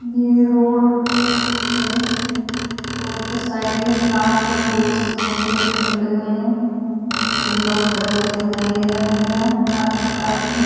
ये रोड़ है रोड़ के साइड में कार खड़ी हुई जिसके दोनों गेट खुले हुए हैं तीन लोग खड़े हुए दिखाई दे रहें हैं यहाँ कार के पास में।